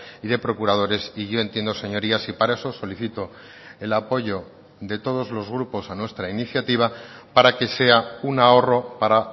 y de procuradores y yo entiendo señorías y para eso solicitó el apoyo de todos los grupos a nuestra iniciativa para que sea un ahorro para